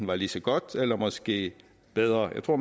være lige så godt eller måske bedre jeg tror